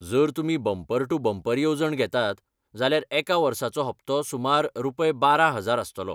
जर तुमी bumper to bumper येवजण घेतात, जाल्यार एका वर्साचो हप्तो सुमार रुपय बारा हाजार आस्तलो.